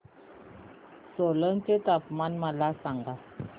सोलन चे तापमान मला सांगा